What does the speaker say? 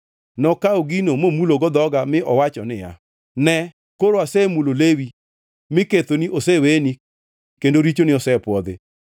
Nokawo gino momulogo dhoga mi owacho niya, “Ne, koro asemulo lewi, mi kethoni oseweni kendo richoni osepwodhi.”